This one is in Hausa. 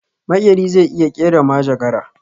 Makeri zai iya kera majagara